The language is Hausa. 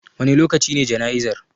Wane lokaci ne jana'izar?